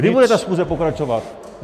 Kdy bude ta schůze pokračovat?